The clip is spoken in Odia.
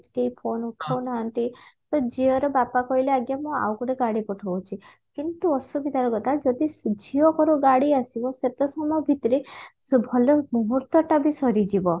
କେହି phone ଉଠଉନାହାନ୍ତି ତ ଝିଅର ବାପା କହିଲେ ଆଜ୍ଞା ମୁଁ ଆଉଗୋଟେ ଗାଡି ପଠଉଛି କିନ୍ତୁ ଅସୁବିଧାର କଥା ଯଦି ଝିଅଘରୁ ଗାଡି ଆସିବ ସେତେସମୟ ଭିତରେ ସେ ଭଲ ମୁହୂର୍ତଟା ବି ସରିଯିବ